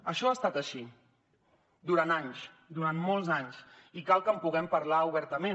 això ha estat així durant anys durant molts anys i cal que en puguem parlar obertament